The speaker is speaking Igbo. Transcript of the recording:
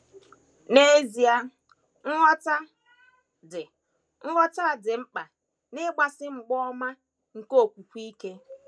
N’ezie, nghọta dị, nghọta dị mkpa n’ịgbasi mgba ọma nke okwukwe ike.